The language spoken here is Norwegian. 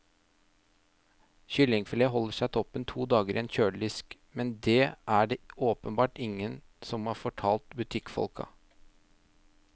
Kyllingfilet holder seg toppen to dager i en kjøledisk, men det er det åpenbart ingen som har fortalt butikkfolka.